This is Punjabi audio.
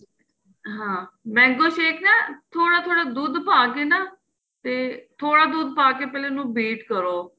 ਹਾਂ mango shake ਨਾ ਥੋੜਾ ਥੋੜਾ ਦੁੱਧ ਪਾਕੇ ਨਾ ਤੇ ਥੋੜਾ ਦੁੱਧ ਪਾਕੇ ਪਹਿਲਾਂ ਇਹਨੂੰ wait ਕਰੋ